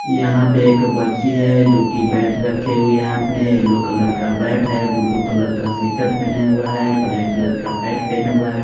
यहाँ पे एक बच्ची हैं जो की बैट रखे हुए हैं हाथ में येलो कलर का बैट हैं ब्लू कलर का स्वेटर पहने हुआ हैं ब्लैक कलर पेंट पहना हुआ हैं।